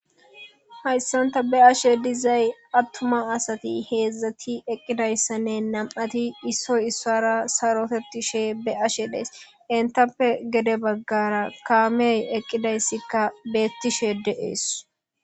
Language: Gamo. hayssanta be'ashe dizay attuma asati heedzdzati eqqidayssanne nam7ati issoy issara sarotetishe be ashe dees entappe gede baggara kaameey eqqidayssikka beettishe deees